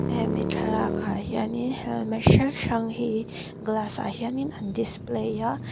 hemi thlalakah hian in helmet hrang hrang hi glass ah hian in an display a.